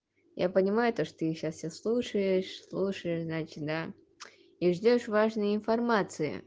я понимаю то что ты сейчас все слушаешь слушаешь значит да и ждёшь важной информации